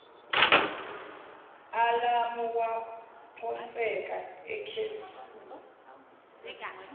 alamu waphonseka ekheshini